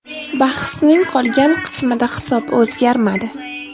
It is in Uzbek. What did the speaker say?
Bahsning qolgan qismida hisob o‘zgarmadi.